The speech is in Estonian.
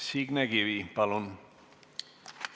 Signe Kivi, palun!